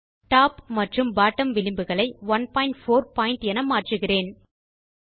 top மற்றும் bottom விளிம்புகளை 14பிட் என மாற்றுகிறேன்